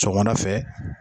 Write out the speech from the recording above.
Sɔgɔmada fɛ